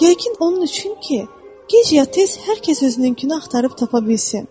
Yəqin onun üçün ki, gec-ya tez hər kəs özününkünü axtarıb tapa bilsin.